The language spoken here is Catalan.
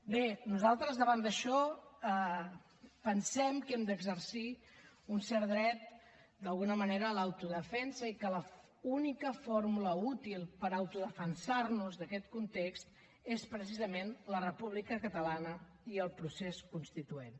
bé nosaltres davant d’això pensem que hem d’exercir un cert dret d’alguna manera a l’autodefensa i que l’única fórmula útil per autodefensar nos d’aquest context és precisament la república catalana i el procés constituent